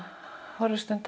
horfir stund